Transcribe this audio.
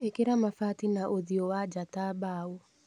Ĩkĩra mabati na ũthiũ wa njaa ta mbaũ.